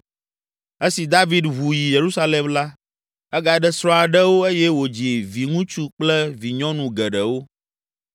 Esi David ʋu yi Yerusalem la, egaɖe srɔ̃ aɖewo eye wòdzi viŋutsu kple vinyɔnu geɖewo.